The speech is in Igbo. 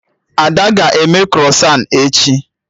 Ada aga eme krọsan echi?